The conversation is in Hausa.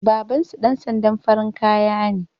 Babansu ɗan sandan farin kaya ne